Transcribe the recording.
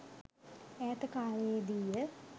ඈත කාලයේ දීය.